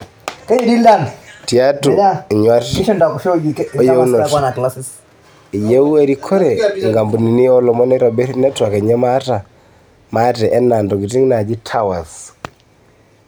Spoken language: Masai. Tiatu inyuat o yieunoto, eyieu erikore inkampunini oo lomon neitobir network enye maate enaa ntokitin naaji 'towers'.